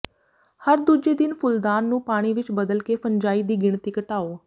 ਹਰ ਦੂਜੇ ਦਿਨ ਫੁੱਲਦਾਨ ਨੂੰ ਪਾਣੀ ਵਿਚ ਬਦਲ ਕੇ ਫੰਜਾਈ ਦੀ ਗਿਣਤੀ ਘਟਾਓ